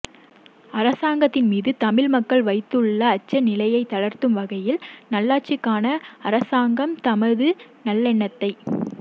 அரசாங்கத்தின் மீது தமிழ் மக்கள் வைத்துள்ள அச்சநிலையை தளர்த்தும் வகையில் நல்லாட்சிக்கான அரசாங்கம் தமது நல்லெண்ணத்தை